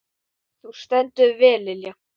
Þú stendur þig vel, Lilja!